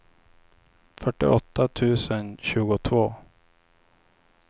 fyrtioåtta tusen tjugotvå